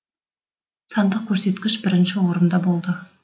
сандық көрсеткіш бірінші орында болды